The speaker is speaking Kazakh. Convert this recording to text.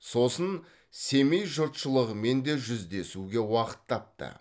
сосын семей жұртшылығымен де жүздесуге уақыт тапты